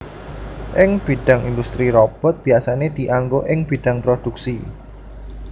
Ing bidhang industri robot biyasané dianggo ing bidhang prodhuksi